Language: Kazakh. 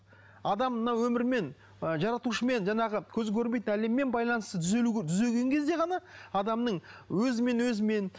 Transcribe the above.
адам мына өмірімен ы жаратушымен жаңағы көзі көрмейтін әлеммен байланысты түзеген кезде ғана адамның өзімен өзімен